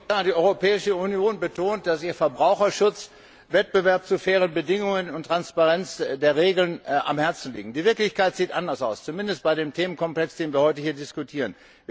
Frau Präsidentin! Die Europäische Union betont, dass ihr Verbraucherschutz, Wettbewerb zu fairen Bedingungen und Transparenz der Regeln am Herzen liegen. Die Wirklichkeit sieht anders aus, zumindest bei dem Themenkomplex, den wir heute hier diskutieren.